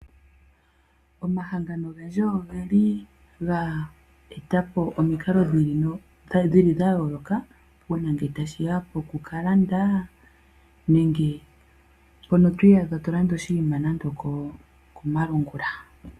Omahangano ogendji ogeli ga etapo omikalo dhayooloka uuna ngele tashiya pokukalanda nenge mpono twiiyaha tolanda oshinima nande okomalungula.